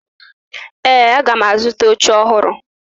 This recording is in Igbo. Ee, aga m azụta oche ọhụrụ